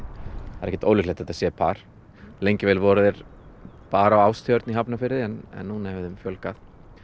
það er ekkert ólíklegt að þetta sé par lengi vel voru þeir bara á Ástjörn í Hafnarfirði en núna hefur þeim fjölgað